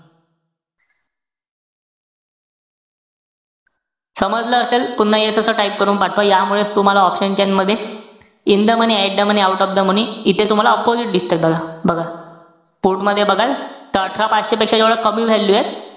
समजलं असेल, पुन्हा yes असं type करून पाठवा. यामुळेच तुम्हाला option chain मध्ये, in the money, at the money, out of the money, इथे तुम्हाला opposite दिसतं का बघा. बघा put मध्ये बघाल, त अठरा पाचशेपेक्षा जेवढा कमी value एत,